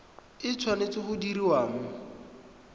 e tshwanetse go diriwa mo